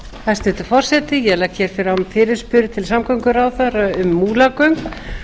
hæstvirtur forseti ég legg hér fram fyrirspurn til samgönguráðherra um múlagöng